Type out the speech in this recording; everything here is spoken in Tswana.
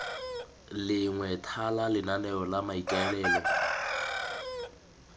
lengwe thala lenaneo la maikaelelo